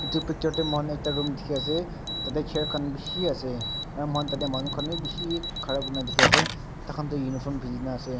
etu picture tae moi khan room ekta dekhi ase tatey chair khan bishi ase aru tatey moi khan manu khan khan vi bishi khara kurina dekhi ase tai khan toh uniform pendina dekhi ase.